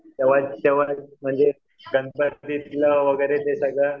म्हणजे वगैरे सगळं